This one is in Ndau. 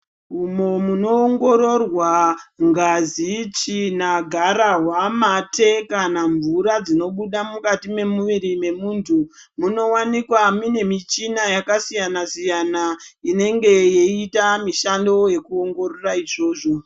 Umwo munoongoroorwa ngazi , tsvina garahwa mate kana mvura dzinobuda mukati mwemuviri memuntu munowanikwa mune muchina yakasiyana siyana inenge yei yeita mishando yekuongoroora izvozvo.